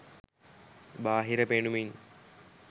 බාහිර පෙනුමින්